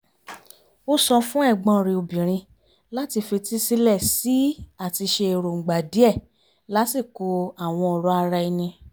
ó sọ fún ẹ̀gbọ́n rẹ̀ obìnrin láti fetísílẹ̀ sí i àti ṣe èròǹgbà díẹ̀ lásìkò àwọn ọ̀rọ̀ ara ẹni